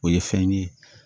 O ye fɛn ye